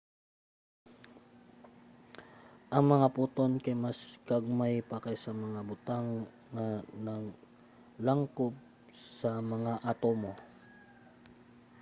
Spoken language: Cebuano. ang mga photon kay mas gagmay pa kaysa mga butang nga naglangkob sa mga atomo!